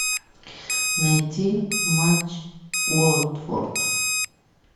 найти матч уотфорд